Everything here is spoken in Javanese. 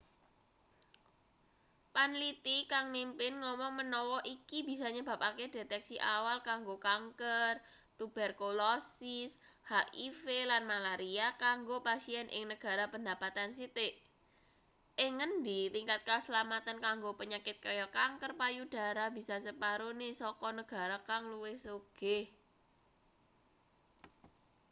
panliti kang mimpin ngomong menawa iki bisa nyebabake deteksi awal kanggo kanker tuberkulosis hiv lan malaria kanggo pasien ing negara pendapatan sithik ing ngendi tingkat kaslametan kanggo penyakit kaya kanker payudara bisa separone saka negara kang luwih sugih